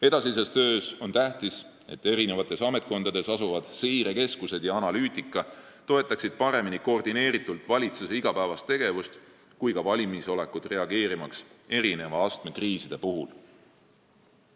Edasises töös on tähtis, et eri ametkondades asuvad seirekeskused ja tehtavad analüüsid toetaksid paremini koordineeritult nii valitsuse igapäevast tegevust kui ka valmisolekut reageerida erineva astmega kriiside puhul.